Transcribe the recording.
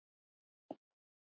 Súla getur átt við